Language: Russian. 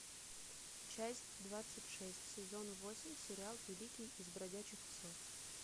часть двадцать шесть сезон восемь сериал великий из бродячих псов